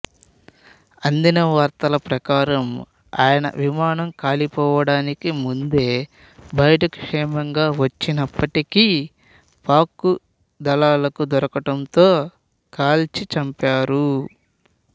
అందిన వార్తల ప్రకారం ఆయన విమానం కూలిపోవడానికి ముందే బయటకు క్షేమంగా వచ్చినప్పటికీ పాక్ దళాలకు దొరకడంతో కాల్చి చంపారు